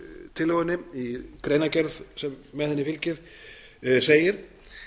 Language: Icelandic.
tillögunni í greinargerð sem með henni fylgir segir